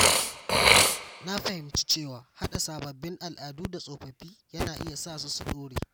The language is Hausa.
Na fahimci cewa haɗa sababbin al’adu da tsofaffi yana iya sa su dorewa.